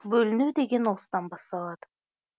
бөліну деген осыдан басталады